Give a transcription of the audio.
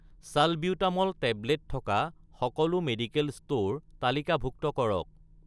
salbutamol tablet থকা সকলো medical store তালিকাভুক্ত কৰক